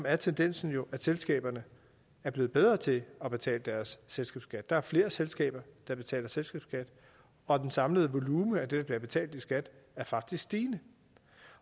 er tendensen jo at selskaberne er blevet bedre til at betale deres selskabsskat der er flere selskaber der betaler selskabsskat og den samlede volumen af det der bliver betalt i skat er faktisk stigende